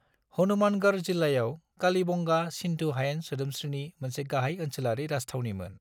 हनुमानगढ़ जिल्लायाव कालीबंगा, सिन्धु हायेन सोदोमस्रिनि मोनसे गाहाय ओनसोलारि राजथावनिमोन।